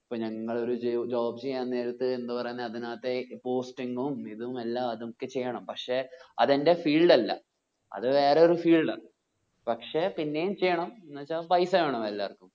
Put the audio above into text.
അപ്പോ ഞങ്ങൾ ഒരു job ചെയ്യാൻ നേരത്തു എന്ത് പറയുന്നേ അതിനത്തെ posting ഉം ഇതും എല്ലാം അതും ഒക്കെ ചെയ്യണം പക്ഷെ അത് എൻ്റെ field അല്ല അത് വേറെ ഒരു field ആ പക്ഷെ പിന്നെയും ചെയ്യണം പൈസ വേണല്ലോ എല്ലാർക്കും